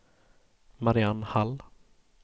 Mariann Hall